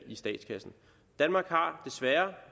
i statskassen danmark har desværre